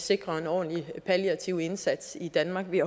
sikrer en ordentlig palliativ indsats i danmark vi